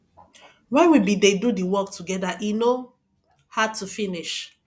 wen we bin dey do di work togeda e no hard to finish